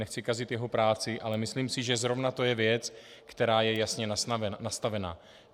Nechci kazit jeho práci, ale myslím si, že zrovna to je věc, která je jasně nastavena.